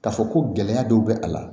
K'a fɔ ko gɛlɛya dɔw bɛ a la